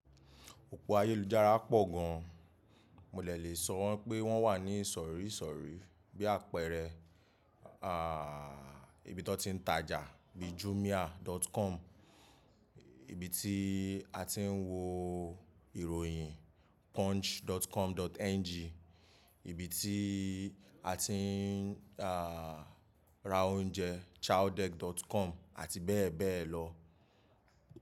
Òpó ayélujára pọ̀ gan, mo dẹ lè sọ wọ́n pé wọ́n wà ní ìsọ̀rí ìsọ̀rí bí àpẹẹrẹ, ibi tọ ti ń tajà bí jumia.com, ibi tí a ti ń wo ìròyìn punch.com.ng, ibi tí a ti ń, à, ra oúnjẹ chowdeck.com àti bẹ́ẹ̀ bẹ́ẹ̀ lọ.